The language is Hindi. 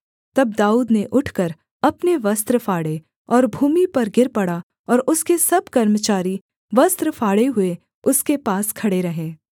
तब दाऊद ने उठकर अपने वस्त्र फाड़े और भूमि पर गिर पड़ा और उसके सब कर्मचारी वस्त्र फाड़े हुए उसके पास खड़े रहे